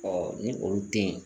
ni olu tɛ ye